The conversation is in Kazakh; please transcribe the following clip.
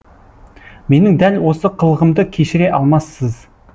менің дәл осы қылығымды кешіре алмассыз